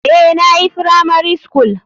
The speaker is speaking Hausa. Eh nayi firamari skul.